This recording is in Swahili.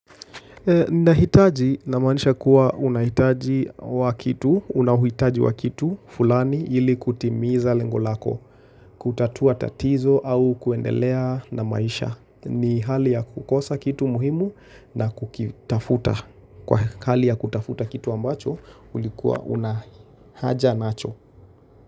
Nahitaji namanisha kuwa unahitaji wa kitu, una uhitaji wa kitu fulani ili kutimiza lengo lako, kutatua tatizo au kuendelea na maisha. Ni hali ya kukosa kitu muhimu na kukitafuta. Kwa hali ya kutafuta kitu ambacho, ulikuwa una haja nacho.